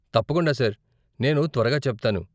తప్పకుండా సార్, నేను త్వరగా చెప్తాను.